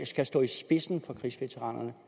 skal stå i spidsen for krigsveteranerne